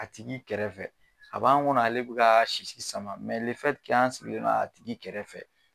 A tigi kɛrɛfɛ a b'an kɔnɔ ale bi ka sisi sama sigilen don a tigi kɛrɛfɛ.